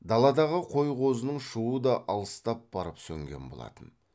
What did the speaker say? даладағы қой қозының шуы да алыстап барып сөнген болатын